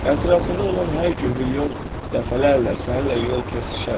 Ətrafında olan hər gün milyon dəfələrlə səninlə yol kəsişər.